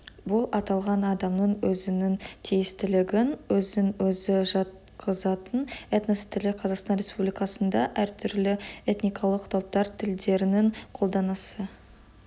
бұл аталған адамның өзінің тиістілігін өзін-өзі жатқызатын этнос тілі қазақстан республикасында әртүрлі этникалық топтар тілдерінің қолданысы